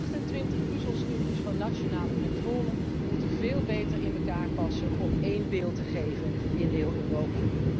De 28 puzzelstukjes van nationale controle moeten veel beter in elkaar passen om één beeld te geven in heel Europa.